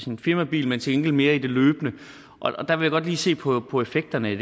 en firmabil men til gengæld mere løbende og der vil jeg godt lige se på på effekterne